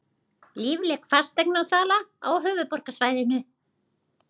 Lífleg fasteignasala á höfuðborgarsvæðinu